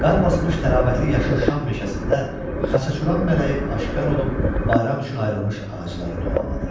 Qar basmış təravətli yaşıl şam meşəsində Xaçaçuran mələyi aşkar olub bayram üçün ayrılmış ağacları dualadı.